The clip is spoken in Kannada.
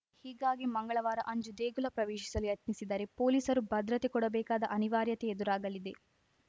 ಹೀಗಾಗಿ ಮಂಗಳವಾರ ಅಂಜು ದೇಗುಲ ಪ್ರವೇಶಿಸಲು ಯತ್ನಿಸಿದರೆ ಪೊಲೀಸರು ಭದ್ರತೆ ಕೊಡಬೇಕಾದ ಅನಿವಾರ್ಯತೆ ಎದುರಾಗಲಿದೆ